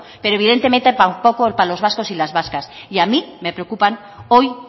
pero evidentemente tampoco para los vascos y las vascas y a mí me preocupan hoy